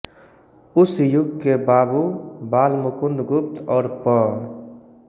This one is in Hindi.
उस युग के बावू बालमुकुंद गुप्त और पं